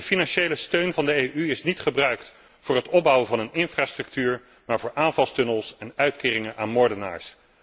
De financiële steun van de EU is niet gebruikt voor het opbouwen van een infrastructuur, maar voor aanvalstunnels en uitkeringen aan moordenaars.